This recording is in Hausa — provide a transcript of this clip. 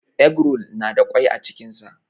Eggroll na da kwai a cikin sa.